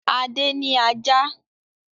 Adé ní ajá.